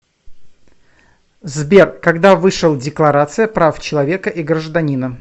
сбер когда вышел декларация прав человека и гражданина